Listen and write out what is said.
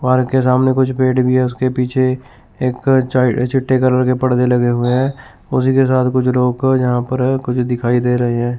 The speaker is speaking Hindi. पार्क के सामने कुछ पेड़ भी हैं उसके पीछे एक च चट्टे कलर के परदे लगे हुए हैं उसी के साथ कुछ लोग यहां पर हैं कुछ दिखाई दे रहे हैं।